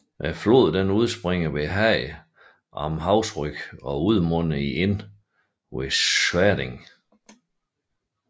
Floden udspringer syd for Haag am Hausrück og udmunder i Inn ved Schärding